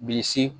Bilisi